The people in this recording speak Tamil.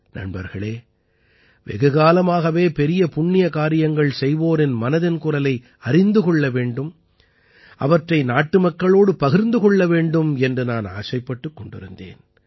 நண்பர்களே வெகுகாலமாகவே பெரிய புண்ணிய காரியங்கள் செய்வோரின் மனதின் குரலை அறிந்து கொள்ள வேண்டும் அவற்றை நாட்டுமக்களோடு பகிர்ந்து கொள்ள வேண்டும் என்று நான் ஆசைப்பட்டுக் கொண்டிருந்தேன்